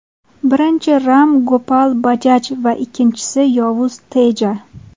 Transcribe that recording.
Birinchisi Ram Gopal Bajaj va ikkinchisi yovuz Teja.